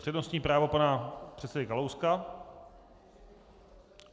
Přednostní právo pana předsedy Kalouska.